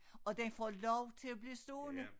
Og den får lov til at blive stående